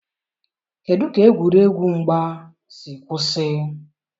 kedụ ka egwuregwu mgba si kwụsị?